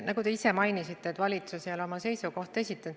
Nagu te ise mainisite, valitsus ei ole oma seisukohta esitanud.